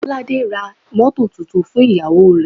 Bolaji ra mọ́tọ̀ tuntun fún ìyàwó rè.